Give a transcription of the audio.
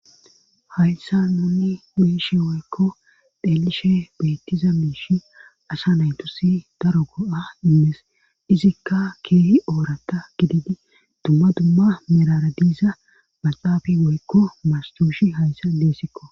hayssa nunni wuyishi woykko dheelishe beettiza miishi asa naytusi daro go7a immees izikka keehi oorata gididi dumma dumma miraradiiza maxaafi woykko mastoshi hayssa deessikko